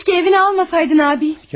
Keşkə evini almasaydın abi.